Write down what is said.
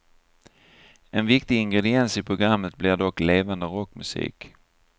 En viktig ingrediens i programmet blir dock levande rockmusik.